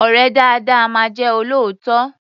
Ọ̀rẹ́ dáadáa máa jẹ́ olóòótọ́.